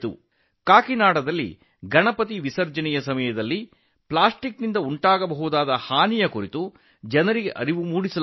ಕಾಕಿನಾಡದಲ್ಲಿ ಗಣಪತಿ ವಿಸರ್ಜನೆಯ ವೇಳೆ ಪ್ಲಾಸ್ಟಿಕ್ನಿಂದ ಆಗುವ ದುಷ್ಪರಿಣಾಮಗಳ ಬಗ್ಗೆ ಜನರಿಗೆ ತಿಳಿಸಲಾಯಿತು